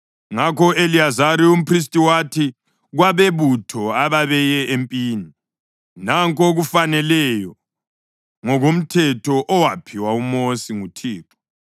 Ngakho u-Eliyazari umphristi wathi kwabebutho ababeye empini, “Nanku okufaneleyo ngokomthetho owaphiwa uMosi nguThixo: